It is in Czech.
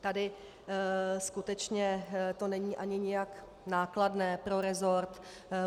Tady skutečně to není ani nijak nákladné pro resort.